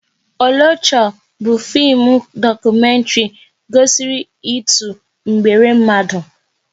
Oloture bụ fim dokumentri gosiri ịtụ mgbere mmadụ